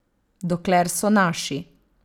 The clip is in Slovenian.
Dokler so naši.